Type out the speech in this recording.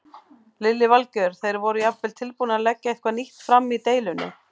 Lillý Valgerður: Þeir voru jafnvel tilbúnir að leggja eitthvað nýtt fram í deilunni?